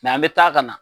an bɛ taa ka na